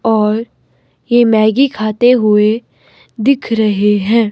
और यह मैगी खाते हुए दिख रहे हैं।